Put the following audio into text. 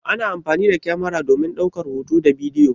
Ana amfani da kyamara domin ɗaukar hoto da bidiyo.